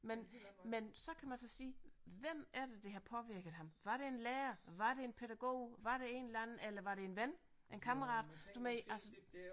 Men men så kan man så sige hvem er det der har påvirket ham var det en lærer var det en pædagog var det en eller anden eller var det en ven en kammerat du ved altså